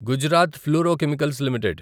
Gujarat Fluorochemicals limited